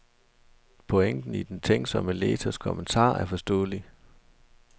Pointen i den tænksomme læsers kommentar er forståelig.